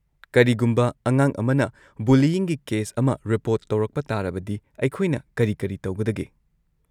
ꯀꯔꯤꯒꯨꯝꯕ ꯑꯉꯥꯡ ꯑꯃꯅ ꯕꯨꯂꯤꯏꯪꯒꯤ ꯀꯦꯁ ꯑꯃ ꯔꯤꯄꯣꯔꯠ ꯇꯧꯔꯛꯄ ꯇꯥꯔꯕꯗꯤ ꯑꯩꯈꯣꯏꯅ ꯀꯔꯤ ꯀꯔꯤ ꯇꯧꯒꯗꯒꯦ?